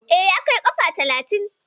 E, ya kai kafa talatin.